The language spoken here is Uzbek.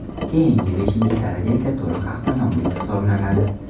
Keyingi, beshinchi daraja esa to‘liq avtonomlik hisoblanadi.